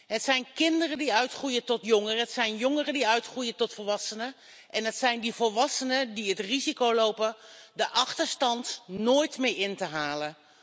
Het zijn kinderen die uitgroeien tot jongeren, het zijn jongeren die uitgroeien tot volwassenen en het zijn die volwassenen die het risico lopen de achterstand nooit meer in te halen.